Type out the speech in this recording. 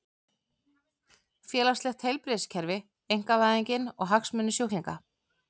Félagslegt heilbrigðiskerfi, einkavæðingin og hagsmunir sjúklinga.